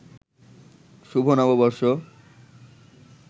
শুভ নববর্ষ